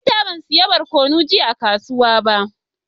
Na manta ban siya barkonu jiya a kasuwa ba.